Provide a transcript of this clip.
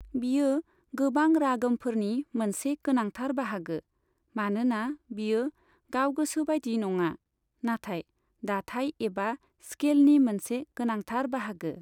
बियो गोबां रागमफोरनि मोनसे गोनांथार बाहागो, मानोना बियो गावगोसो बायदि नङा, नाथाय दाथाय एबा स्खेलनि मोनसे गोनांथार बाहागो।